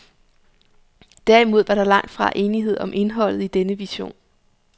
Derimod var der langt fra enighed om indholdet i denne vision.